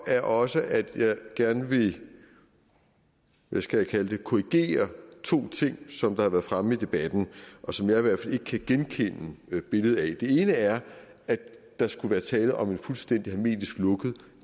er også at jeg gerne vil hvad skal jeg kalde det korrigere to ting som har været fremme i debatten og som jeg i hvert fald ikke kan genkende billedet af det ene er at der skulle være tale om en fuldstændig hermetisk lukket